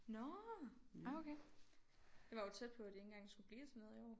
Nårh ah okay det var jo tæt på det ikke engang skulle blive til noget i år